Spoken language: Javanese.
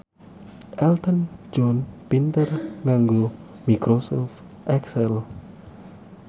Elton John pinter nganggo microsoft excel